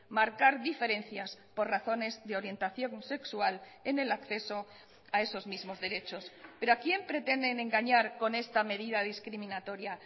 marcar diferencias por razones de orientación sexual en el acceso a esos mismos derechos pero a quién pretenden engañar con esta medida discriminatoria